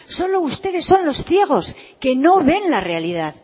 solo ustedes son los ciegos que no ven la realidad